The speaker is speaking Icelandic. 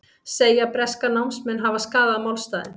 Segja breska námsmenn hafa skaðað málstaðinn